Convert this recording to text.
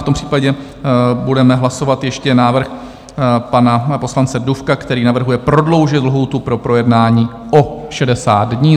V tom případě budeme hlasovat ještě návrh pana poslance Dufka, který navrhuje prodloužit lhůtu pro projednání o 60 dní.